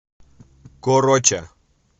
короча